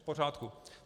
V pořádku.